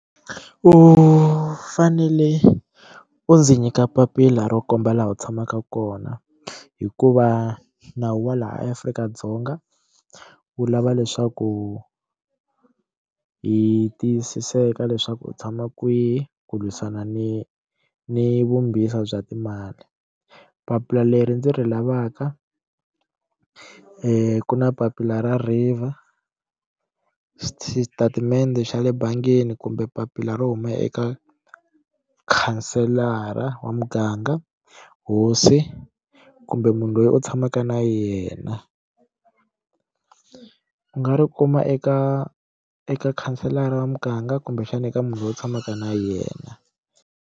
U fanele u ndzi nyika papila ro komba laha u tshamaka kona hikuva nawu wa laha eAfrika-Dzonga wu lava leswaku u hi tiyisisa eka leswaku u tshama kwihi ku lwisana ni ni vumbisa bya timali papila leri ndzi ri lavaka ku na papila ra river xitatimende xa le bangini kumbe papila ro huma eka mukhanselara wa muganga hosi kumbe munhu loyi u tshamaka na yena u nga ri kuma eka eka khanselara wa muganga kumbexana eka munhu loyi u tshamaka na yena.